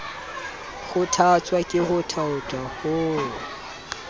kgothatswa ke ho thaotha ho